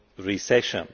recession.